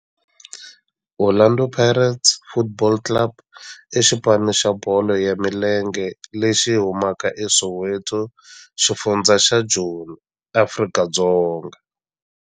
Orlando Pirates Football Club i xipano xa bolo ya milenge lexi humaka eSoweto, xifundzha xa Joni, Afrika-Dzonga.